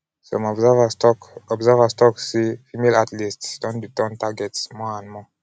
some observers tok observers tok say female athletes don dey turn target more and more.